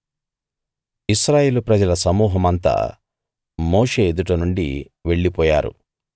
ఇశ్రాయేలు ప్రజల సమూహమంతా మోషే ఎదుట నుండి వెళ్ళిపోయారు